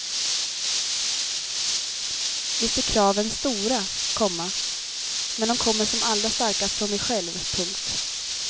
Visst är kraven stora, komma men de kommer som allra starkast från mig själv. punkt